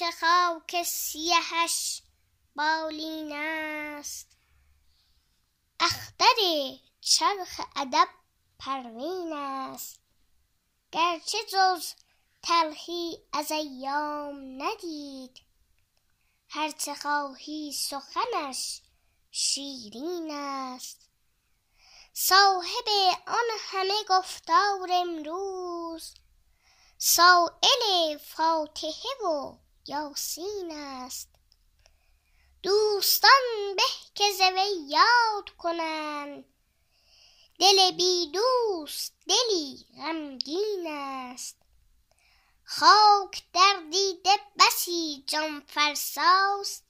اینکه خاک سیهش بالین است اختر چرخ ادب پروین است گرچه جز تلخی از ایام ندید هر چه خواهی سخنش شیرین است صاحب آن همه گفتار امروز سایل فاتحه و یاسین است دوستان به که ز وی یاد کنند دل بی دوست دلی غمگین است خاک در دیده بسی جان فرسا ست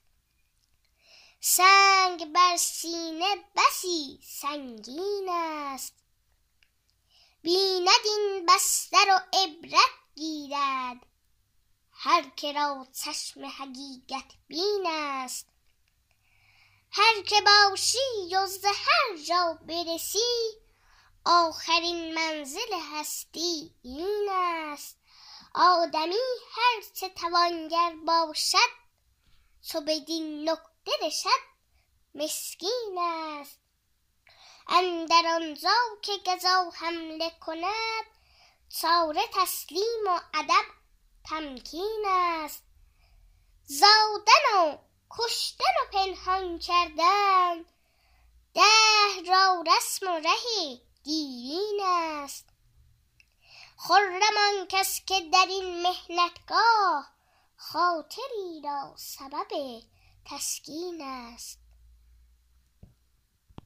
سنگ بر سینه بسی سنگین است بیند این بستر و عبرت گیرد هر که را چشم حقیقت بین است هر که باشی و به هر جا برسی آخرین منزل هستی این است آدمی هر چه توانگر باشد چو بدین نقطه رسد مسکین است اندر آنجا که قضا حمله کند چاره تسلیم و ادب تمکین است زادن و کشتن و پنهان کردن دهر را رسم و ره دیرین است خرم آن کس که در این محنت گاه خاطری را سبب تسکین است